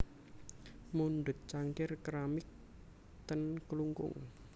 Mundhut cangkir keramik ten Klungkung